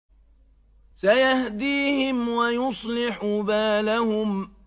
سَيَهْدِيهِمْ وَيُصْلِحُ بَالَهُمْ